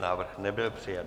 Návrh nebyl přijat.